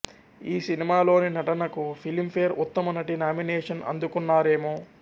ఈ సినిమాలోని నటనకు ఫిలింఫేర్ ఉత్తమ నటి నామినేషన్ అందుకున్నారామె